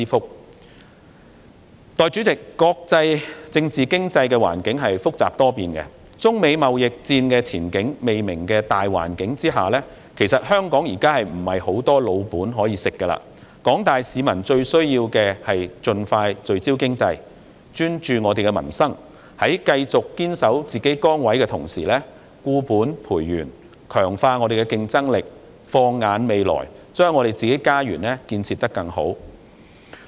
代理主席，國際政治經濟環境複雜多變，在中美貿易戰的前景未明的大環境下，其實香港現在沒有很多"老本"可以吃，廣大市民最需要盡快聚焦經濟，專注民生，在繼續堅守自己崗位的同時，固本培元，強化香港的競爭力，放眼未來，把自己的家園建設得更好。